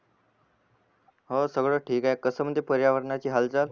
हो सगळ ठीक आहे कस म्हणते पर्यावरणाची हालचाल